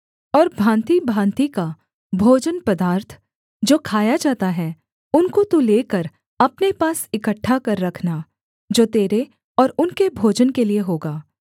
और भाँतिभाँति का भोजन पदार्थ जो खाया जाता है उनको तू लेकर अपने पास इकट्ठा कर रखना जो तेरे और उनके भोजन के लिये होगा